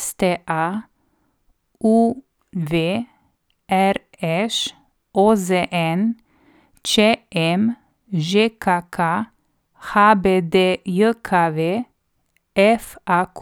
STA, UV, RŠ, OZN, ČM, ŽKK, HBDJKV, FAQ.